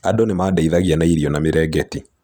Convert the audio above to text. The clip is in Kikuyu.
Andũ nĩ maandeithagia na irio na mirengeti.